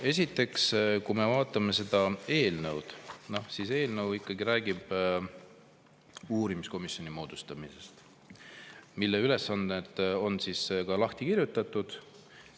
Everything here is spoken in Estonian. Esiteks, kui me vaatame seda eelnõu, siis eelnõu räägib uurimiskomisjoni moodustamisest, mille ülesanded on ka lahti kirjutatud.